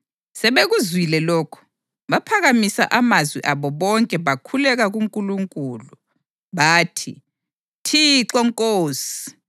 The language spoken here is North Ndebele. Sebekuzwile lokhu, baphakamisa amazwi abo bonke bakhuleka kuNkulunkulu. Bathi, “Thixo Nkosi, wena wenza amazulu lomhlaba, lolwandle lakho konke okukuwo.